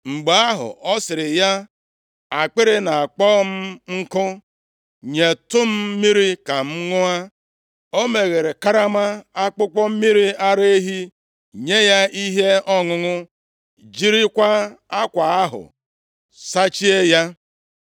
Mgbe ahụ, ọ sịrị ya, “Akpịrị na-akpọ m nkụ, nyetụ m mmiri ka m ṅụọ.” O meghere karama akpụkpọ mmiri ara ehi, nye ya ihe ọṅụṅụ, jirikwa akwa ahụ sachie ya.